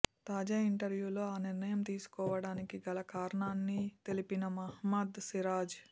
తాజా ఇంటర్య్వూలో ఆ నిర్ణయం తీసుకోవడానికి గల కారణాన్ని తెలిపిన మహమ్మద్ సిరాజ్